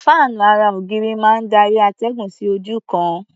Fáànú ara-ògiri máa ń darí atẹ́gùn sí ojú kan.